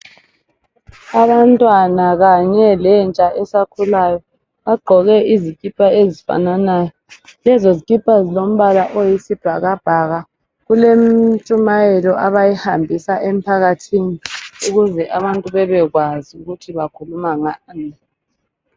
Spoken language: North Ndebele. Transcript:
Abantwana kanye lentsha esakhulayo bagqoke izikipa ezifananayo lezo zikipa zilombala oyisibhakabhaka kulentshumayelo abayihambisa emphakathini ukuze abantu bebekwazi ukuthi bakhuluma ngani.